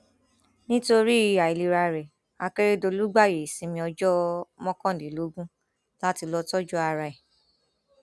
nítorí àìlera rẹ akérèdọlù gbààyè ìsinmi ọjọ mọkànlélógún láti lọọ tọjú ara ẹ